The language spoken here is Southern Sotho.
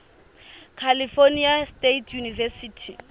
california state university